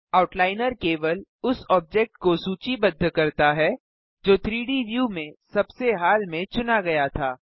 outliner केवल उस object को सूचीबद्ध करता है जो 3डी व्यू में सबसे हाल में चुना गया था